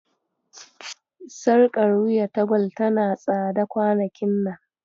Sarƙar wuya ta Gwal tana tsada kwanakin nan.